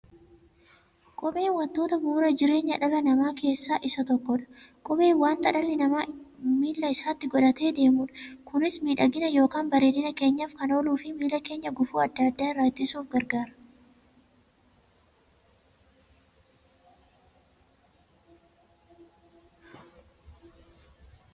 Kopheen wantoota bu'uura jireenya dhala namaa keessaa isa tokkodha. Kopheen wanta dhalli namaa miilla isaatti godhatee deemudha. Kunis miidhagani yookiin bareedina keenyaf kan ooluufi miilla keenya gufuu adda addaa irraa ittisuuf gargaara.